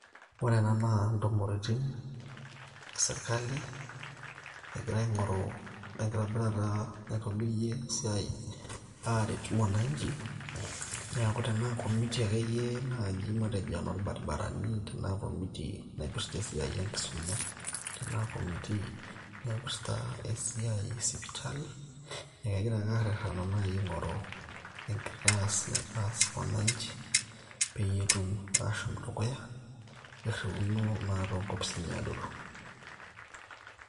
ore ena naa ntumoritin esirkali egira aing'oru enkitobirata naitobirie esiai aaret mwananchi neeku tenaa committee akeyie naaji matejo enoorbaribarani, tenaa [cscommittee naipirta esiai enkisuma, tenaa committee naipirta esiai e sipitali nee ekegira ake arrerena naaji aing'oru enkitaas naitaas wananchi peyie etum ashom dukuya irriuno naa toonkopisini adoru.